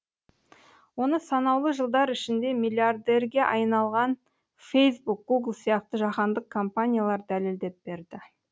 оны санаулы жылдар ішінде миллиардерге айналған фейсбук гугл сияқты жаһандық компаниялар дәлелдеп берді